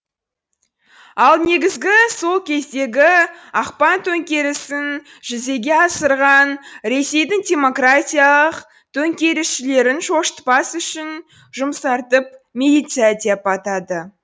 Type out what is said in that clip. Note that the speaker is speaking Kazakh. ал негізгі сол кездегі ақпан төңкерісін жүзеге асырған ресейдің демократиялық төңкерісшілерін шошытпас үшін жұмсартып милиция деп атады